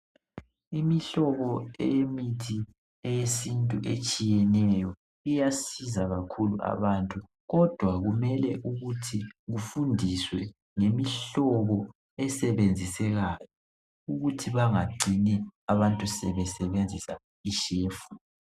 Imihlobo eyemithi eyesintu etshiyeneyo ,iyasiza kakhulu abantu .Kodwa kumele ukuthi kufundiswe ngemihlobo esebenzisekayo .Ukuthi bangacini abantu sebesebenzisa ishefu.